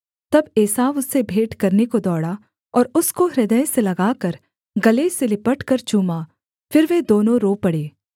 तब एसाव उससे भेंट करने को दौड़ा और उसको हृदय से लगाकर गले से लिपटकर चूमा फिर वे दोनों रो पड़े